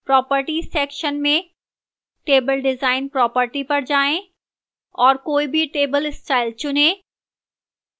properties section में table design properties पर जाएं और कोई भी table style चुनें